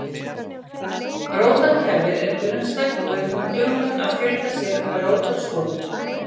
Rótarkerfið er grunnstætt og er hún dugleg að fjölga sér með rótarskotum.